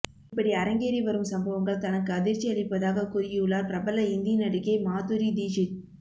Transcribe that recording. இப்படி அரங்கேறி வரும் சம்பவங்கள் தனக்கு அதிர்ச்சி அளிப்பதாக கூறியுள்ளார் பிரபல இந்தி நடிகை மாதுரி தீக்ஷித்